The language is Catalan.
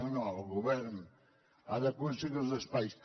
no no el govern ha d’aconseguir els espais